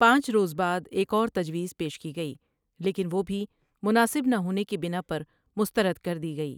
پانچ روز بعد ایک اور تجویز پیش کی گئى لیکن وہ بھی مناسب نہ ہونے کی بناء پر مسترد کردی گئى ۔